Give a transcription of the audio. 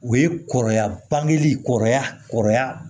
O ye kɔrɔya bangeli kɔrɔya kɔrɔya